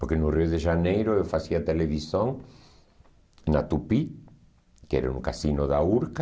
Porque no Rio de Janeiro eu fazia televisão na Tupi, que era um cassino da Urca.